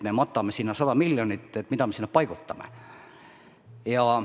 Me matame sinna 100 miljonit, aga mida me sinna paigutame?